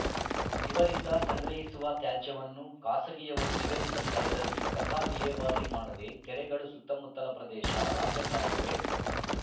ಇವರಿಂದ ಸಂಗ್ರಹಿಸುವ ತ್ಯಾಜ್ಯವನ್ನು ಖಾಸಗಿಯವರು ನಿಗದಿತ ಸ್ಥಳದಲ್ಲಿ ಕಸ ವಿಲೇವಾರಿ ಮಾಡದೆ ಕೆರೆಗಳ ಸುತ್ತಮುತ್ತಲ ಪ್ರದೇಶ ರಾಜಕಾಲುವೆ